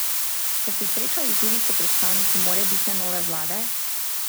Ste se srečali tudi s predstavniki morebitne nove vlade?